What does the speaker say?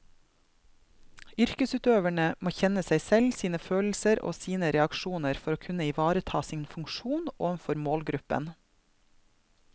Yrkesutøverne må kjenne seg selv, sine følelser og sine reaksjoner for å kunne ivareta sin funksjon overfor målgruppen.